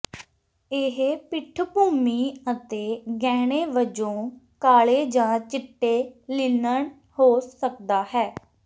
ਇਹ ਪਿੱਠਭੂਮੀ ਅਤੇ ਗਹਿਣੇ ਵਜੋਂ ਕਾਲੇ ਜਾਂ ਚਿੱਟੇ ਲਿਨਨ ਹੋ ਸਕਦਾ ਹੈ